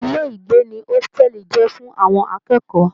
Ilé ìgbé ní hositẹ́li jẹ fún àwọn akẹ́kọ̀ọ́.